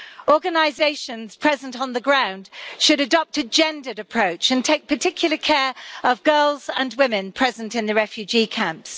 Organisations present on the ground should adopt a gendered approach and take particular care of girls and women present in the refugee camps.